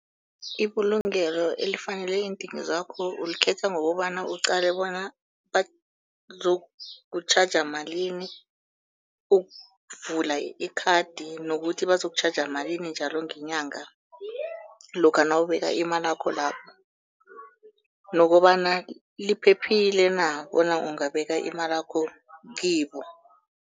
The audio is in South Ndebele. Ibulungelo elifanele iindingo zakho ulikhetha ngokobana uqale bona bazokutjhaja malini ukuvula ikhadi, nokuthi bazokutjhaja malini njalo ngenyanga, lokha nawubeka imalakho lapho nokobana liphephile na bona ungabeka imalakho kibo.